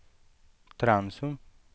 Trensum